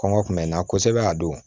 Kɔngɔ kun bɛ n na kosɛbɛ a don